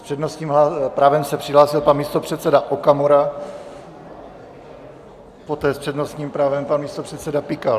S přednostním právem se přihlásil pan místopředseda Okamura, poté s přednostním právem pan místopředseda Pikal.